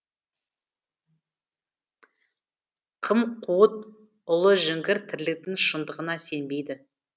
қым қуыт ұлыжіңгір тірліктің шындығына сенбейді